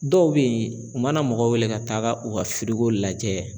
Dɔw bɛ yen u mana mɔgɔ wele ka taaga u ka firiko lajɛ.